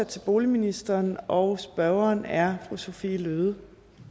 til boligministeren og spørgeren er fru sophie løhde